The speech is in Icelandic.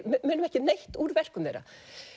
munum ekki neitt úr verkum þeirra